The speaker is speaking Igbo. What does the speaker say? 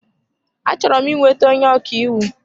Achọrọ m ị nweta onye ọkaiwu.